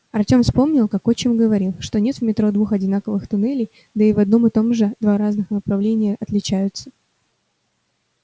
артём вспомнил как отчим говорил что нет в метро двух одинаковых туннелей да и в одном и том же два разных направления отличаются